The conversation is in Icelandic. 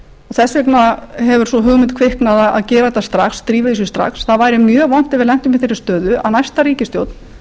þess vegna hefur sú hugmynd kviknað að drífa í þessu strax það væri mjög vont ef við lentum í þeirri stöðu að næsta ríkisstjórn